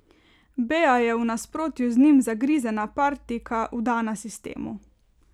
Bea je v nasprotju z njim zagrizena partijka, vdana sistemu.